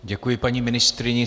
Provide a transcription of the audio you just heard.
Děkuji paní ministryni.